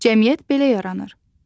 Cəmiyyət belə yaranır.